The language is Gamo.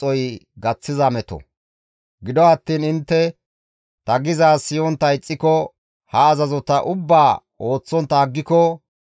« ‹Gido attiin intte ta gizaaz siyontta ixxiko ha azazota ubbaa ooththontta aggiko,